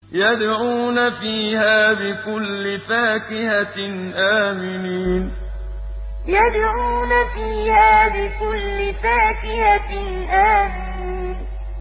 يَدْعُونَ فِيهَا بِكُلِّ فَاكِهَةٍ آمِنِينَ يَدْعُونَ فِيهَا بِكُلِّ فَاكِهَةٍ آمِنِينَ